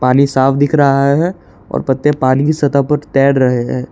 नी साफ दिख रहा है और पत्ते पानी की सतह पर तैर रहे हैं।